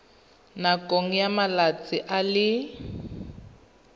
nakong ya malatsi a le